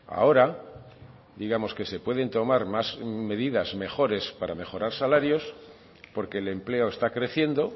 ahora digamos que se pueden tomar más medidas mejores para mejorar salarios porque el empleo está creciendo